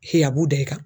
Hi a b'u da i kan